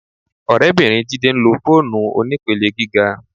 Ọ̀rẹ́bìnrin Jídé ń lo fóònù onípele gíga